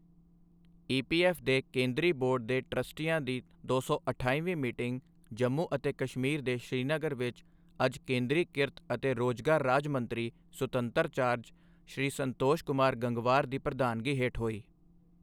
EPF ਦੇ ਕੇਂਦਰੀ board ਦੇ ਟ੍ਰਸਟੀਆਂ ਦੀ ਦੋ ਸੌ ਅਠਾਈਵੀਂ ਮੀਟਿੰਗ ਜੰਮੂ ਅਤੇ ਕਸ਼ਮੀਰ ਦੇ ਸ਼੍ਰੀਨਗਰ ਵਿਚ ਅੱਜ ਕੇਂਦਰੀ ਕਿਰਤ ਅਤੇ ਰੋਜ਼ਗਾਰ ਰਾਜ ਮੰਤਰੀ ਸੁਤੰਤਰ ਚਾਰਜ ਸ਼੍ਰੀ ਸੰਤੋਸ਼ ਕੁਮਾਰ ਗੰਗਵਾਰ ਦੀ ਪ੍ਰਧਾਨਗੀ ਹੇਠ ਹੋਈ।